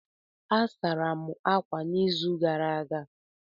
A sara m ákwà n'izuụka gara aga.